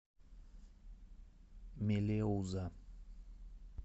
мелеуза